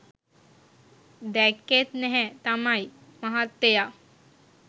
දැක්‌කෙත් නැහැ තමයි මහත්තයා